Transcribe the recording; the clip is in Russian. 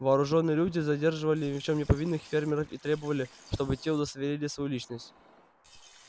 вооружённые люди задерживали ни в чём не повинных фермеров и требовали чтобы те удостоверили свою личность